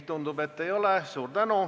Tundub, et ei ole.